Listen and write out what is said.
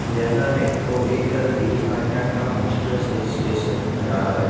यह मेरे को एक घी काटा का माएस्ट्रो से स्टेशन दिख रहा है।